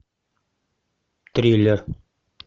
триллер